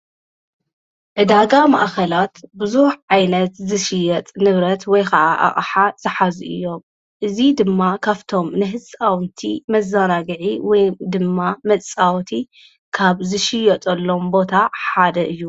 እዳጋ መኣኸላት ብዙኅ ዓይነት ዝሽየጥ ንብረት ወይ ከዓ ኣቕሓ ዝሓዚ እዮም እዙ ድማ ካፍቶም ንሕጽውንቲ መዛናግዒ ወይ ድማ መጻወቲ ካብ ዝሽየጠ ሎም ቦታ ሓደ እዩ።